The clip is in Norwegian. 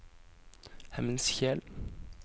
Hemnskjel